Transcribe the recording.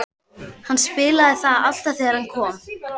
Hann spilaði það alltaf þegar hann kom.